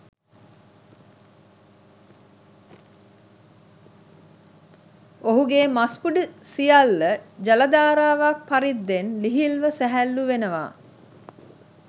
ඔහුගේ මස්පිඬු සියල්ල ජලධාරාවක් පරිද්දෙන් ලිහිල්ව සැහැල්ලූ වෙනවා.